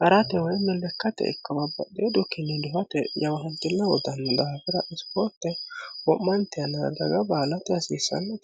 haratte woyi lekkate ikko babbaxino xukkini duhatte jawanitili uyittano daafira isiporitte Womanitte yannara dagga baalatte hasisanno